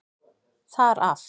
Þar af.